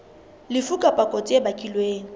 lefu kapa kotsi e bakilweng